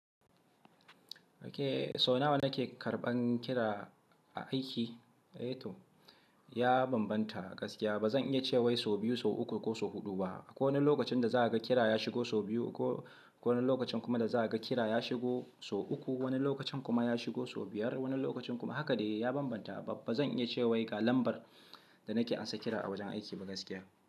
Okay so nawa nake karɓan kira a aiki? Eh to ya bambanta gaskiya ba zan iya cewa sau biyu, sau uku ko sau huɗu ba. Akwai wani lokacin da za a ga kira ya shigo sau biyu ko wani lokacin kuma da za a ga kira ya shigo sau uku, wani lokacin kuma ya shigo sau biyar wani lokacin kuma haka dai ya bambanta. Ba zan iya cewa ga lambar da nake amsa kira a wajen aiki ba gaskiya.